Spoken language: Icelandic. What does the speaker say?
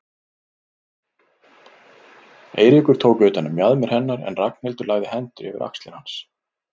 Eiríkur tók utan um mjaðmir hennar en Ragnhildur lagði hendurnar yfir axlir hans.